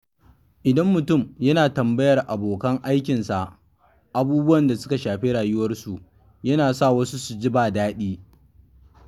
Idan mutum yana tambayar abokan aikinsa abubuwan da suka shafi rayuwarsu, yana sa wa su ji ba daɗi.